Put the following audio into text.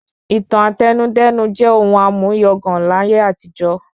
ìtàn Àtẹnudẹ́nu jẹ́ ohun àmúyangàn láyé àtijọ́